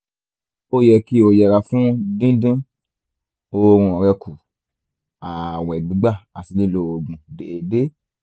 ó yẹ kí o yẹra fún dídín oorun rẹ kù ààwẹ̀ gbígbà àti lílo oògùn déédéé